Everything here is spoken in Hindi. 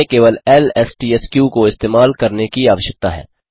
हमें केवल एलएसटीएसके को इस्तेमाल करने की आवश्यकता है